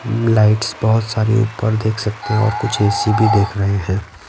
Lights बहुत सारी ऊपर देख सकते हैं और कुछ ए_ सी_ भी देख रहे हैं।